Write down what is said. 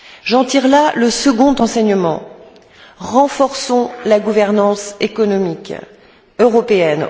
J'en tire le second enseignement renforçons la gouvernance économique européenne.